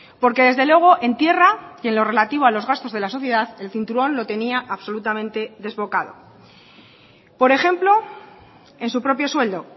porque desde luego en tierra y en lo relativo a los gastos de la sociedad el cinturón lo tenía absolutamente desbocado por ejemplo en su propio sueldo